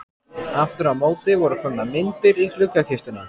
Aftur á móti voru komnar myndir í gluggakistuna.